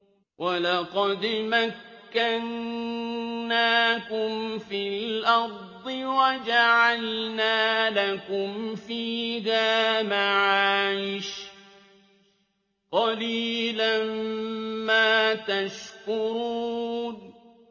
وَلَقَدْ مَكَّنَّاكُمْ فِي الْأَرْضِ وَجَعَلْنَا لَكُمْ فِيهَا مَعَايِشَ ۗ قَلِيلًا مَّا تَشْكُرُونَ